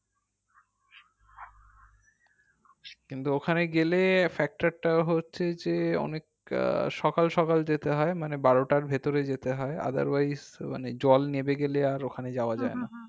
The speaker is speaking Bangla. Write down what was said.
কিন্তু ওখানে গেলে factor টা হচ্ছে যে অনেক আহ সকাল সকাল যেতে হয় মানে বারোটার ভেতর যেতে হয় otherwise মানে জল নেমে গেলে আর ওখানে যাওয়া যাই না